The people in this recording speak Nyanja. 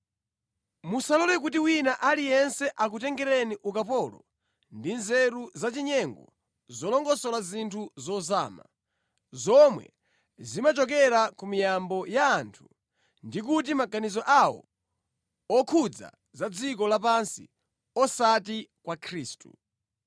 Musalole kuti wina aliyense akutengeni ukapolo ndi mʼnzeru zachinyengo zolongosola zinthu zozama, zomwe zimachokera ku miyambo ya anthu ndi ku maganizo awo okhudza za dziko lapansi osati kwa Khristu.